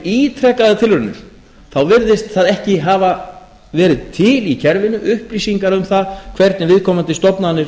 ítrekaðar tilraunir virðast ekki hafa verið til í kerfinu upplýsingar um það hvernig viðkomandi stofnanir